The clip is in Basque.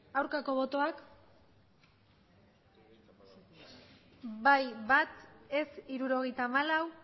aurkako botoak bai bat ez hirurogeita hamalau